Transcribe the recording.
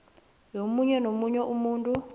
yomunye nomunye umuntu